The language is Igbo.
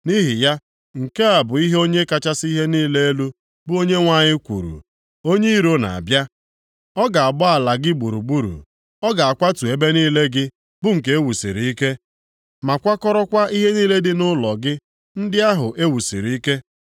Nʼihi ya nke a bụ ihe Onye kachasị ihe niile elu, bụ Onyenwe anyị kwuru, “Onye iro na-abịa! Ọ ga-agba ala gị gburugburu; ọ ga-akwatu ebe niile gị bụ nke e wusiri ike, ma kwakọrọkwa ihe niile dị nʼụlọ gị ndị ahụ e wusiri ike.”